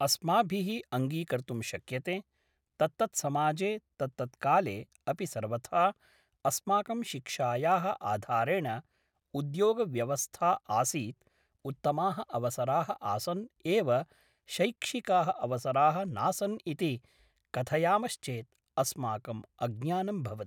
अस्माभिः अङ्गीकर्तुं शक्यते तत्तत्समाजे तत्तत्काले अपि सर्वथा अस्माकं शिक्षायाः आधारेण उद्योगव्यवस्था आसीत् उत्तमाः अवसराः आसन् एव शैक्षिकाः अवसराः नासन् इति कथयामश्चेत् अस्माकं अज्ञानं भवति